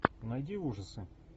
найди ужасы